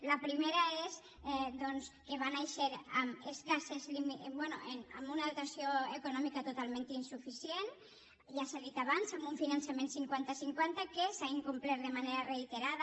la primera és que va néixer amb una dotació econòmica totalment insuficient ja s’ha dit abans amb un finançament cinquanta cinquanta que s’ha incomplert de manera reiterada